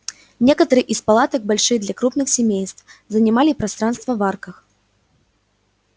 некоторые из палаток большие для крупных семейств занимали пространство в арках